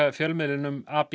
fjölmiðlinum